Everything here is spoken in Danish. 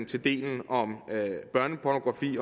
til delen om børnepornografi